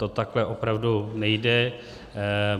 To takhle opravdu nejde.